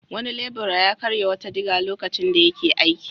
Wani lebura ya karya wata diga lokacin da yake aiki.